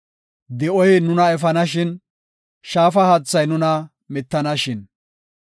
Di7oy nuna efanashin; shaafa haathay nuna mittanashin.